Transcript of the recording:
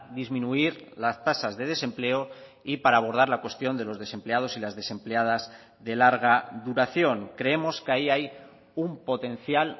disminuir las tasas de desempleo y para abordar la cuestión de los desempleados y las desempleadas de larga duración creemos que ahí hay un potencial